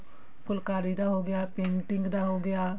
ਫੁਲਕਾਰੀ ਦਾ ਹੋਗਿਆ painting ਦਾ ਹੋਗਿਆ